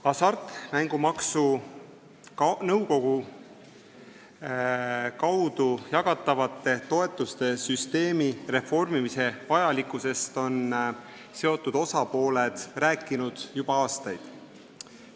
Hasartmängumaksu Nõukogu kaudu jagatavate toetuste süsteemi reformimise vajalikkusest on seotud osapooled rääkinud juba aastaid.